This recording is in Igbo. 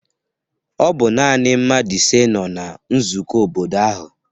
Ọ bụ naanị mmadụ isii nọ na nzukọ obodo ahụ